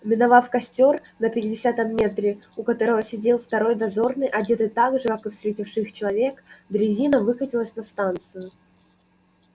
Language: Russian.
миновав костёр на пятидесятом метре у которого сидел второй дозорный одетый так же как и встретивший их человек дрезина выкатилась на станцию